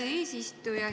Hea eesistuja!